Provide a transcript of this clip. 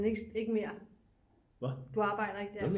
Men ikke mere du arbejder ikke der